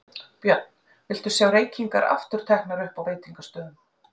Björn: Viltu sjá reykingar aftur teknar upp á veitingastöðum?